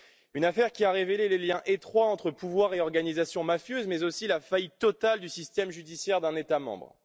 Une affaire qui a révélé les liens étroits entre pouvoir et organisations mafieuses, mais aussi la faillite totale du système judiciaire d'un État membre.